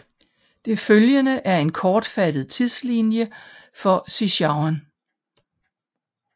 Det følgende er en kortfattet tidslinje for Sichuan